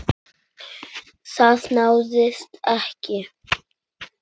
Það náðist ekki.